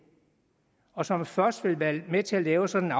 og som først vil være med til at lave sådan